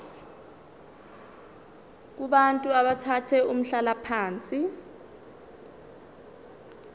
kubantu abathathe umhlalaphansi